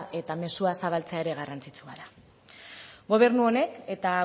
eta mezua zabaltzea ere garrantzitsua da gobernu honek eta